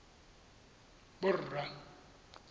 borra